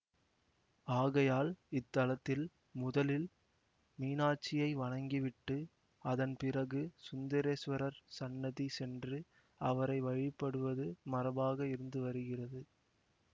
ஆகையால் இத்தலத்தில் முதலில் மீனாட்சியை வணங்கிவிட்டு அதன் பிறகு சுந்தரேசுவரர் சந்நதி சென்று அவரை வழிபடுவது மரபாக இருந்து வருகிறது